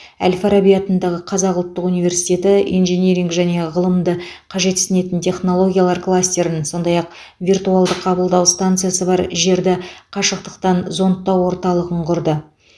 әл фараби атындағы қазақ ұлттық университеті инжиниринг және ғылымды қажетсінетін технологиялар кластерін сондай ақ виртуалды қабылдау станциясы бар жерді қашықтықтан зондтау орталығын құрды